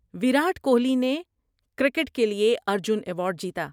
وراٹ کوہلی نے کرکٹ کے لیے ارجن ایوارڈ جیتا۔